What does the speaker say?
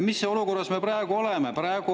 " Mis olukorras me praegu oleme?